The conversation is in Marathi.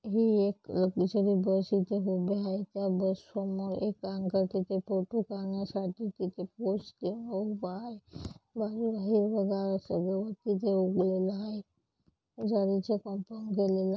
ही एक लग्जेरी बस इथे उभे आहे या बस समोर एक अंकल तिथे फोटो काढण्यासाठी तिथे पोज घेवून उभा आहे गवत तिथं उगलेले आहे.